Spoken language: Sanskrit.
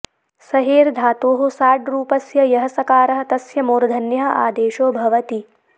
सहेर् धातोः साड्रूपस्य यः सकारः तस्य मूर्धन्यः आदेशो भवति